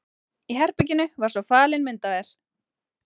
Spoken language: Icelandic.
Í herberginu var svo falin myndavél.